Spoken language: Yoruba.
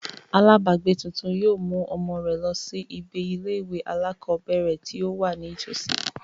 Alábàágbé tuntun yóò mú ọmọ rẹ̀ lọ sí ibi ilé ìwé alákọ̀ọ́bẹ̀ẹ̀rẹ̀ tí ó wà ní tọ̀sí.